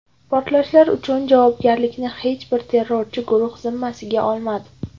Portlashlar uchun javobgarlikni hech bir terrorchi guruh zimmasiga olmadi.